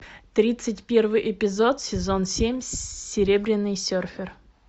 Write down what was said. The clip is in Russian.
тридцать первый эпизод сезон семь серебряный серфер